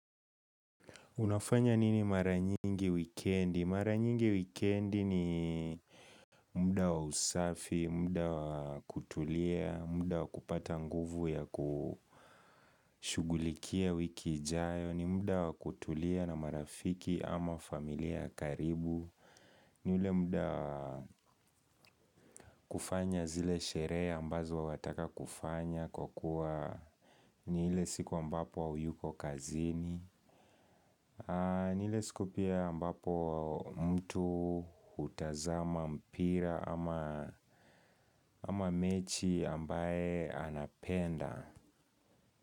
Unafanya nini maranyingi wikendi? Maranyingi wikendi ni muda wa usafi, muda wa kutulia, muda wa kupata nguvu ya kushughulikia wiki ijayo, ni muda wa kutulia na marafiki ama familiaya karibu. Ni ule muda kufanya zile sherehe ambazo wataka kufanya kwa kuwa ni ile siku ambapoha uyuko kazini. Ni ile siku pia ambapo mtu hutazama mpira ama mechi ambaye anapenda.